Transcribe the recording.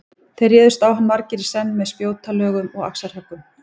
Þeir réðust á hann margir í senn með spjótalögum og axarhöggum.